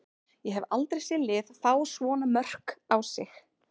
Ég hef aldrei séð lið fá svona mörk á sig.